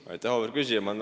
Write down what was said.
Aitäh, auväärt küsija!